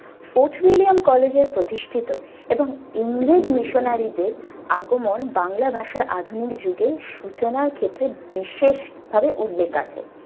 Fort William college এ প্রতিষ্ঠিত এবং ইংরেজ missionary দের আগমন বাংলা ভাষার আধুনিক যুগে সূচনার ক্ষেত্রে বিশেষ ভাবে উল্লেখ আছে।